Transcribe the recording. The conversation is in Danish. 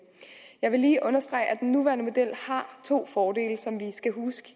jeg vil lige understrege at den nuværende model har to fordele som vi skal huske